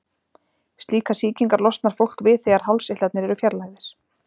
Slíkar sýkingar losnar fólk við þegar hálseitlarnir eru fjarlægðir.